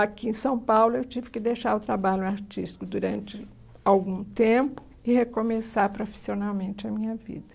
Aqui em São Paulo, eu tive que deixar o trabalho artístico durante algum tempo e recomeçar profissionalmente a minha vida.